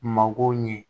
Mako ɲɛ